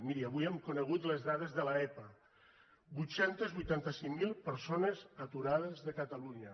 mirin avui hem conegut les dades de l’epa vuit cents i vuitanta cinc mil persones aturades a catalunya